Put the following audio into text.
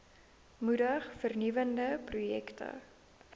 moedig vernuwende projekte